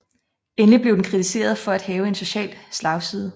Endelig blev den kritiseret for at have en social slagside